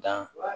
Dan